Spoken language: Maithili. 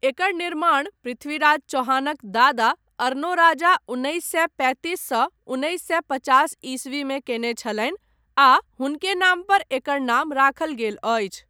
एकर निर्माण पृथ्वीराज चौहानक दादा अरनोराजा उन्नैस सए पैंतीस सँ उन्नैस सए पचास ईस्वीमे कयने छलनि आ हुनके नाम पर एकर नाम राखल गेल अछि।